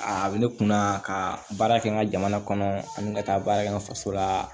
A bɛ ne kun na ka baara kɛ n ka jamana kɔnɔ ani n ka taa baara kɛ n ka faso la